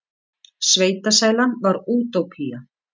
Sveitasælan var útópía.